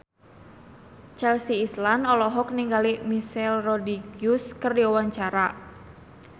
Chelsea Islan olohok ningali Michelle Rodriguez keur diwawancara